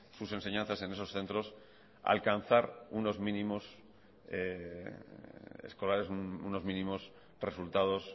sus enseñanzas en esos centros alcanzar unos mínimos escolares unos mínimos resultados